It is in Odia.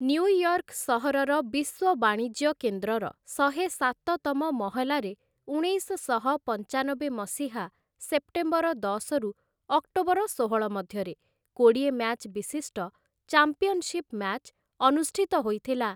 ନ୍ୟୁୟର୍କ୍‌ ସହରର ବିଶ୍ୱ ବାଣିଜ୍ୟ କେନ୍ଦ୍ରର ଶହେସାତ ତମ ମହଲାରେ ଉଣେଇଶଶହ ପଞ୍ଚାନବେ ମସିହା ସେପ୍ଟେମ୍ବର ଦଶରୁ ଅକ୍ଟୋବର ଷୋହଳ ମଧ୍ୟରେ କୋଡ଼ିଏ ମ୍ୟାଚ୍ ବିଶିଷ୍ଟ ଚାମ୍ପିଅନଶିପ୍‌ ମ୍ୟାଚ୍ ଅନୁଷ୍ଠିତ ହୋଇଥିଲା ।